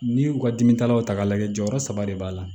N'i y'u ka dimi ta o ta k'a lajɛ jɔyɔrɔ saba de b'a la